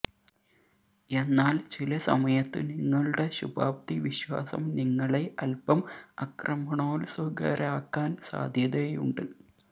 എന്നാല് ചില സമയത്ത് നിങ്ങളുടെ ശുഭാപ്തിവിശ്വാസം നിങ്ങളെ അല്പം അക്രമണോത്സുകരാക്കാന് സാധ്യതയുണ്ട്